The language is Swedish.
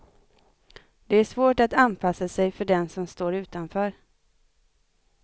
Det är svårt att anpassa sig för den som står utanför.